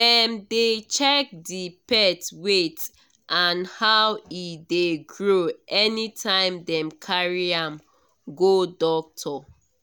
dem dey check the pet weight and how e dey grow anytime dem carry am go doctor